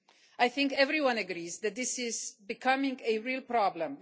I think everyone agrees that this is becoming a real problem.